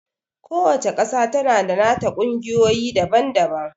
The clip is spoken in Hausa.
Ku wacca ƙasa tana da nata ƙungiyoyi daban-daban